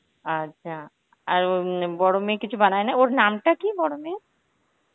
আচ্ছা আর উম বড় মেয়ে কিছু বানায় না? ওর নামটা কি বড় মেয়ের?